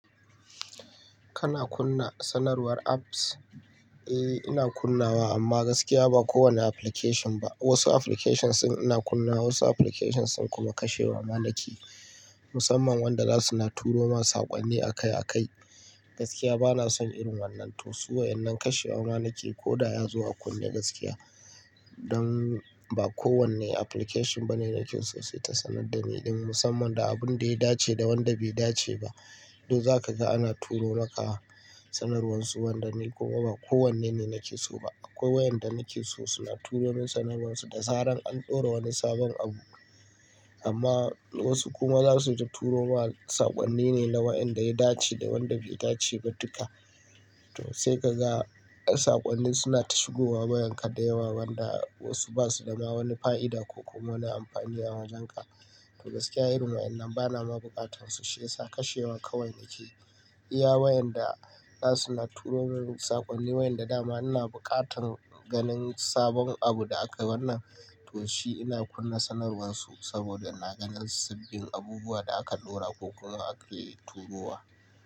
Kana kunna sanarwar apps? Eh, ina kunnawa amma gaskiya ba kowane application ba. Wasu applications ina kunnawa, wasu applications sun kuma kashe wa manake. Musamman wanda za su na turo mana saƙonni akai akai. Gaskiya bana son irin wannan to. Suwaye nan kashe wa manake ko da ya zo a kunne gaskiya. Don ba kowane application bane nake so sai ta sanar da ni ɗin. Musamman da abun da ya dace da wanda bai dace ba. To za ka ga ana turo maka sanarwar su wanda ni kuma ba kowanne ne nake so ba. Akwai wayanda nake so suna turo min sanarwarsu da zaran an ɗora wani sabon abu. Amma wasu kuma za su ta turo mana saƙonni ne na wayanda ya dace da wanda bai dace ba duka. To sai ka ga saƙonni suna tushigowa bayan ka da yawa wanda wasu ba su dama wani fa'ida ko kuma wani amfani a wajenka. To gaskiya irin wayannan bana ma buƙatan su shiyasa kashe wama kawai yake. Iya wayanda za su na turo min saƙonni wayanda dama ina buƙatan ganin sabon abu da aka wannan to shi ina kunna sanarwarsu saboda na ganin sabbin abubuwa da aka ɗora ko kuma aka turo wa.